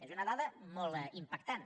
és una dada molt impactant